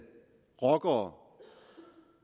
rockere og